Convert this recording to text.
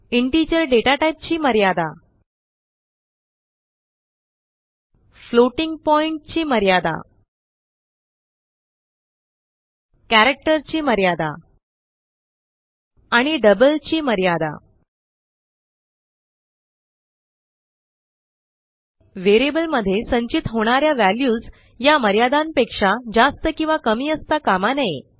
Integerडेटाटाईपची मर्यादा 32768 ते 32767 floating point ची मर्यादा 34ई 38 कॅरेक्टर ची मर्यादा 128 टीओ 127 आणि डबल ची मर्यादा 17ई 308 व्हेरिएबलमध्ये संचित होणा या व्हॅल्यूज या मर्यादांपेक्षा जास्त किंवा कमी असता कामा नये